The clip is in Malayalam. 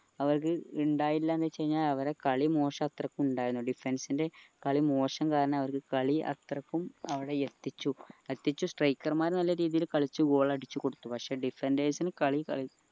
അവർക്ക് ഇണ്ടായില്ലാന്ന് വെച് കഴിഞ്ഞ അവരെ കാളി മോശം അത്രയ്ക്ക് ഇണ്ടായിന് defense ൻ്റെ കളി മോശം കാരണം അവരിക്ക് കളി അത്രക്കും അവിടെ എത്തിച്ചു എത്തിച്ചു striker മാർ നല്ല രീതിയില് കളിച്ചു goal അടിച്ചു കൊടുത്തു പക്ഷെ defenders ന് കളി